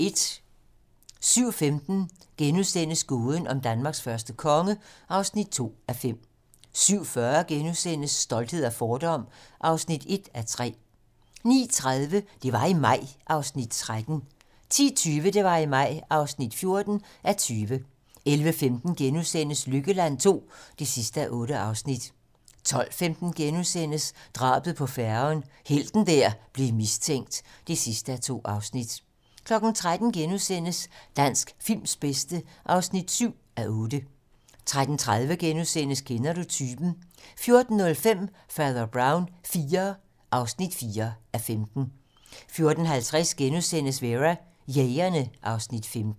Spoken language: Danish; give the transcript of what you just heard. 07:15: Gåden om Danmarks første konge (2:5)* 07:40: Stolthed og fordom (1:3)* 09:30: Det var i maj (13:20) 10:20: Det var i maj (14:20) 11:15: Lykkeland II (8:8)* 12:15: Drabet på færgen - helten der blev mistænkt (2:2)* 13:00: Dansk films bedste (7:8)* 13:30: Kender du typen? * 14:05: Fader Brown IV (4:15) 14:50: Vera: Jægerne (Afs. 15)*